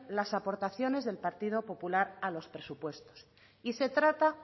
las aportaciones del partido popular a los presupuestos y se trata